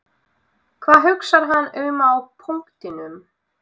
Hvað hugsar hann um á punktinum?